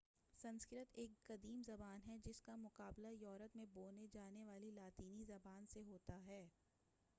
سنسکرت ایک قدیم زبان ہے جس کا مقابلہ یورپ میں بولی جانے والی لاطینی زبان سے ہوتا ہے